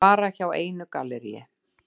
Og bara hjá einu galleríi.